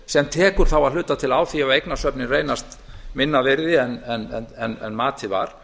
sem tekur þá að hluta til á því ef eignasöfnin reynast minna virði en matið var